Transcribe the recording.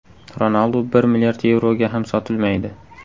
Ronaldu bir milliard yevroga ham sotilmaydi.